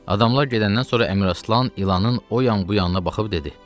Adamlar gedəndən sonra Əmir Aslan ilanın o yan bu yanına baxıb dedi: